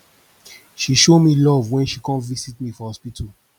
she show me love wen she come visit me for hospital